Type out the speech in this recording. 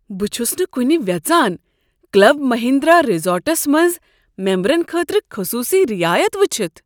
بہٕ چھس نہٕ کنہ ویژان کلب مہندرا ریزورٹس منٛز ممبرن خٲطرٕ خصوصی رعایت وٕچھتھ۔